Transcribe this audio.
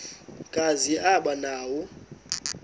kazi aba nawo